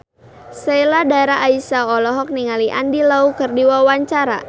Sheila Dara Aisha olohok ningali Andy Lau keur diwawancara